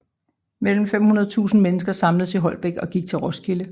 Mellem 500 og 1000 mennesker samledes i Holbæk og gik til Roskilde